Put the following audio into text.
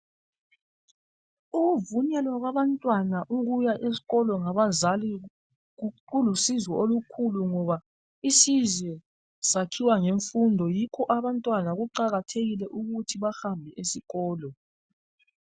Ukuvunyelwa kwabantwana ukuya esikolo ngabazali kulusizo olukhulu ngoba isizwe sakhiwa ngemfundo yikho abantwana kuqakathekile ukuthi bahambe esikolo.